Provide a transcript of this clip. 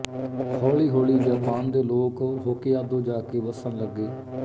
ਹੌਲੀਹੌਲੀ Japan ਦੇ ਲੋਕ Hokkaido ਜਾ ਕੇ ਵੱਸਣ ਲੱਗੇ